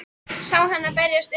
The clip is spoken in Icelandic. Sé hana berjast um í moldinni.